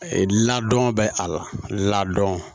E ladon bɛ a la ladɔn